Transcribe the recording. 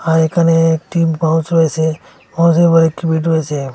আর এখানে একটি পাউচ রয়েসে আবার একটি বিল রয়েসে।